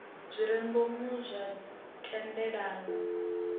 zwi re ngomu zwa thendelano